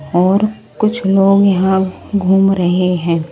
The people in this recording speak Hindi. और कुछ लोग यहां घूम रहे हैं।